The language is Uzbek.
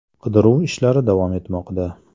Qidiruv ishlari davom etmoqda.